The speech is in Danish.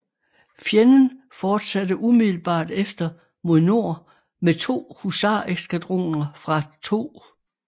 Fjenden fortsatte umiddelbart efter mod nord med to husareskadroner fra 2